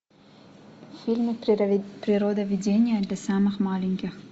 фильм природоведение для самых маленьких